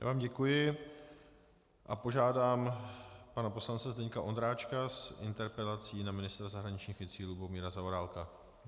Já vám děkuji a požádám pana poslance Zdeňka Ondráčka s interpelací na ministra zahraničních věcí Lubomíra Zaorálka.